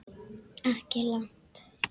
Ekki langt.